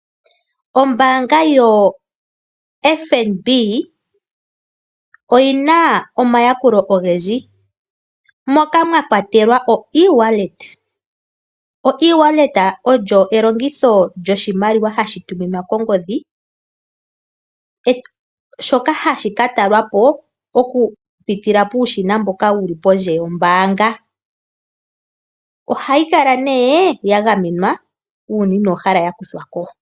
Ombaanga yoFNB oyi na omayakulo ogendji moka mwa kwatelwa oEwallet. Oewallet olyo elongitho lyoshimaliwa hashi tuminwa kongodhi, shoka hashi ka kuthwa ko okupitila puushina mboka wu li pondje yombaanga. Ohayi kala nduno ya gamenwa uuna inoo hala ya kuthwa ko.